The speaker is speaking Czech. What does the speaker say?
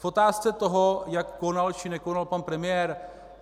V otázce toho, jak konal či nekonal pan premiér.